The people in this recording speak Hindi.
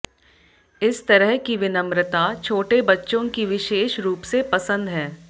इस तरह की विनम्रता छोटे बच्चों की विशेष रूप से पसंद है